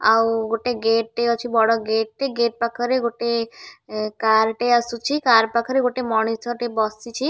ଆଉ ଗୋଟେ ଗେଟ ଟେ ଅଛି ବଡ଼ ଗେଟ ଟେ ଗେଟ ପାଖରେ ଗୋଟିଏ କାର ଟେ ଆସୁଛି କାର ପାଖରେ ଗୋଟେ ମଣିଷ ବସିଛି ଆଉ--